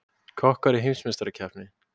Kokkar í heimsmeistarakeppni